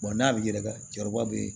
n'a bɛ yɛlɛ jagoya bɛ